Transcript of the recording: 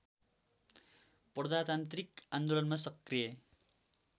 प्रजातान्त्रिक आन्दोलनमा सक्रिय